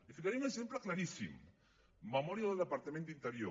li ficaré un exemple claríssim memòria del departament d’interior